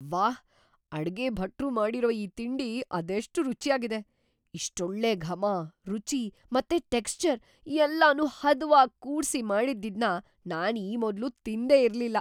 ವಾಹ್! ಅಡ್ಗೆ ಭಟ್ರು ಮಾಡಿರೋ ಈ ತಿಂಡಿ ಅದೆಷ್ಟ್‌ ರುಚ್ಯಾಗಿದೆ! ಇಷ್ಟೊಳ್ಳೆ ಘಮ, ರುಚಿ ಮತ್ತೆ ಟೆಕ್ಷ್ಚರ್‌ ಎಲ್ಲನೂ ಹದವಾಗ್ ಕೂಡ್ಸಿ‌ ಮಾಡಿದ್ದಿದ್ನ ನಾನ್‌ ಈ ಮೊದ್ಲು ತಿಂದೇ ಇರ್ಲಿಲ್ಲ.